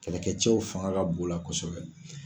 Kɛlɛkɛcɛw fanga ka bon u la kɔsɛbɛ.